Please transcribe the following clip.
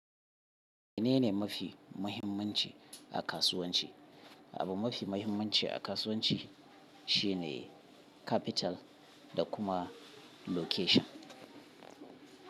Menene mafi muhimmanci a kasuwanci? Abu mafi mahimmanci a kasuwanci shi ne capital da kuma location.